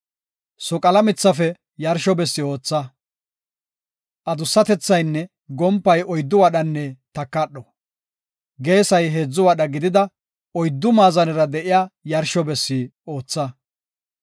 “Soqala mithafe yarsho bessi ootha. Adussatethaynne gompay oyddu wadhanne takadho, geesay heedzu wadha gidida oyddu maazanera de7iya yarsho bessi ootha.